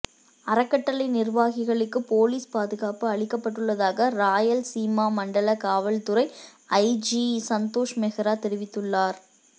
அறக்கட்டளை நிர்வாகிகளுக்கு போலீஸ் பாதுகாப்பு அளிக்கப்பட்டுள்ளதாக ராயலசீமா மண்டல காவல்துறை ஐஜி சந்தோஷ் மெஹ்ரா தெரிவித்துள்ளார்